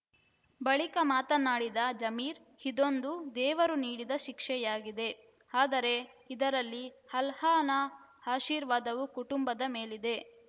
ಬಳಿಕ ಮಾತನಾಡಿದ ಜಮೀರ್ ಇದೊಂದು ದೇವರು ನೀಡಿದ ಶಿಕ್ಷೆಯಾಗಿದೆ ಆದರೆ ಇದರಲ್ಲಿ ಅಲ್ಲಾಹನ ಆಶೀರ್ವಾದವೂ ಕುಟುಂಬದ ಮೇಲಿದೆ